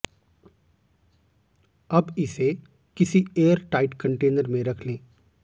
अब इसे किसी एयर लाइट कंटेनर में रख लें